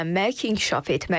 Öyrənmək, inkişaf etmək.